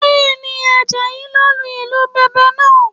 Bẹ́ẹ̀ni, Àjàyí ló lu ìlù Bẹ̀m̀bẹ̀ lánàá